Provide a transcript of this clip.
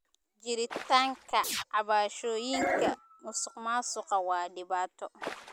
Jiritaanka cabashooyinka musuqmaasuqa waa dhibaato.